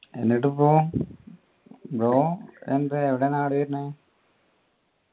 എന്നിട്ടിപ്പോ ബ്രോ എന്താ എവിടെയാ നാട് വരുന്ന്